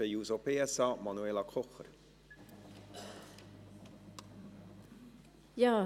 Für die SP-JUSO-PSA, Manuela Kocher.